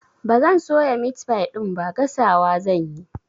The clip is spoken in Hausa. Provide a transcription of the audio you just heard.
Ba zan soya meat pie ɗin ba, gasawa zan yi.